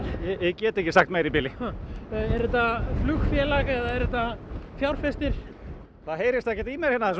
get ekki sagt meira í bili er þetta flugfélag eða er þetta fjárfestir það heyrist ekkert í mér hérna það